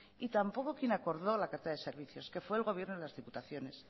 y tampoco quien acordó la cartera de servicios que fue el gobierno y las diputaciones